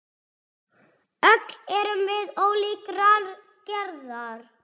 Öll erum við ólíkrar gerðar.